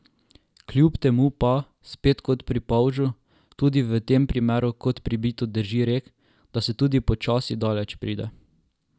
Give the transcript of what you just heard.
Kljub temu pa, spet kot pri polžu, tudi v tem primeru kot pribito drži rek, da se tudi počasi daleč pride.